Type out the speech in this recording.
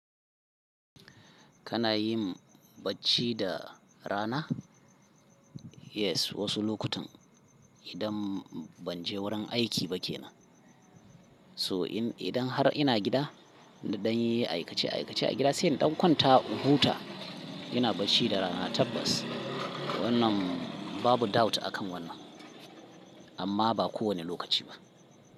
Kana yin bacci da rana? Yes, wasu lokutan idan ban je wurin aiki ba ke nan. To idan har ina gida, nan dan yin aikace aikace a gida, sai in ɗan kwanta in huta. Ina bacci da rana tabbas. Wannan babu doubt akan wannan. Amma ba kowane lokaci ba.